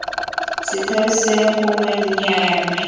setheo seo gongwe nnyaya mme